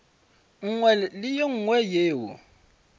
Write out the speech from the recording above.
nngwe le ye nngwe yeo